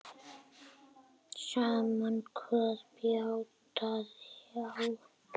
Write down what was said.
Sama hvað bjátaði á.